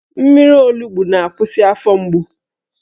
Mmiri olugbu na-akwụsị afọ mgbu